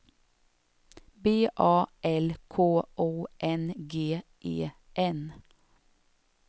B A L K O N G E N